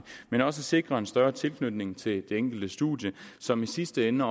men også at sikre en større tilknytning til det enkelte studium som i sidste ende